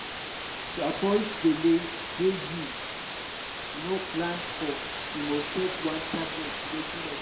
to avoid belle wey you no plan for you must take one tablet regularly.